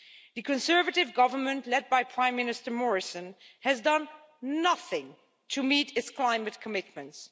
The Conservative government, led by Prime Minister Morrison, has done nothing to meet its climate commitments.